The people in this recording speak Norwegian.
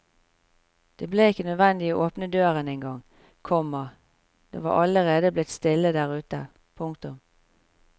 Det ble ikke nødvendig å åpne døren engang, komma det var allerede blitt stille der ute. punktum